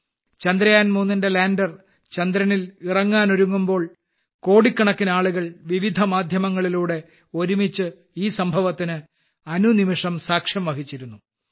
ചന്ദ്രയാൻ 3 ന്റെ ലാൻഡർ ചന്ദ്രനിൽ ഇറങ്ങാൻ ഒരുങ്ങുമ്പോൾ കോടിക്കണക്കിന് ആളുകൾ വിവിധ മാധ്യമങ്ങളിലൂടെ ഒരുമിച്ച് ഈ സംഭവത്തിന് അനുനിമിഷം സാക്ഷ്യം വഹിച്ചിരുന്നു